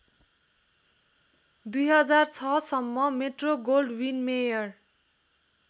२००६ सम्म मेट्रोगोल्डविनमेयर